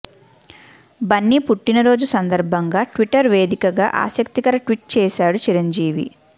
బన్నీ పుట్టిన రోజు సందర్భంగా ట్విటర్ వేదికగా ఆసక్తికర ట్వీట్ చేశాడు చిరంజీవి